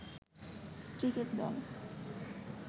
Cricket দল।